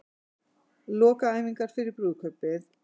Lokaæfingar fyrir brúðkaupið